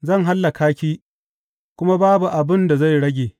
Zan hallaka ki kuma babu abin da zai rage.